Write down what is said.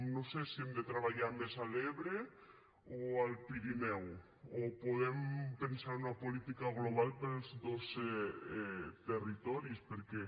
no sé si hem de treballar més a l’ebre o al pirineu o podem pensar una política global per a tots dos territoris perquè